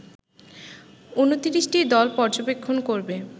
২৯টি দল পর্যবেক্ষণ করবে